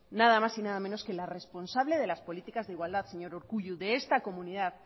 nada más y nada menos que la responsable de las políticas de igualdad señor urkullu de esta comunidad